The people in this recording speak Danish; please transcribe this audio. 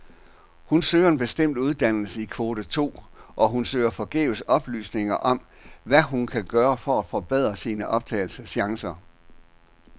Hun søger en bestemt uddannelse i kvote to, og hun søger forgæves oplysninger om, hvad hun kan gøre for at forbedre sine optagelseschancer.